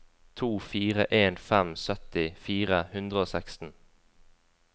to fire en fem sytti fire hundre og seksten